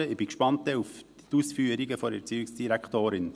Ich bin gespannt auf die Ausführungen der Erziehungsdirektorin.